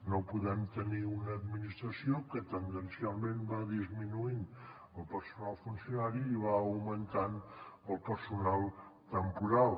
no podem tenir una administració que tendencialment va disminuint el personal funcionari i va augmentant el personal temporal